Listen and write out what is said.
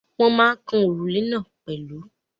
Wọ́n ma ń kan òrùlé náà pẹ̀lú..